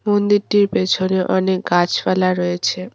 মন্দিরটির পেছনে অনেক গাছপালা রয়েছে।